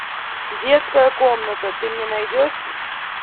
детская комната ты мне найдешь